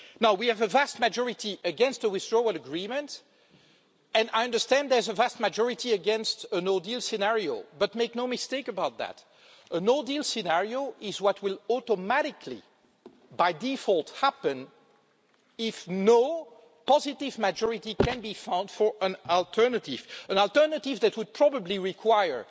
We have a vast majority against a Withdrawal Agreement and I understand that there's a vast majority against a no-deal scenario. But make no mistake about that a no-deal scenario is what will automatically happen by default if no positive majority can be found for an alternative, an alternative that would probably require